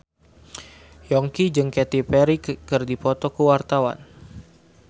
Yongki jeung Katy Perry keur dipoto ku wartawan